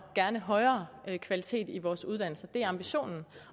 gerne højere kvalitet i vores uddannelser det er ambitionen